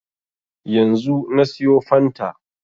Yanzu na siyo fanta